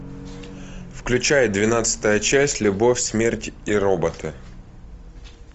включай двенадцатая часть любовь смерть и роботы